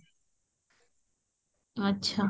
ଆଛା